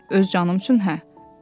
Öz canım üçün hə.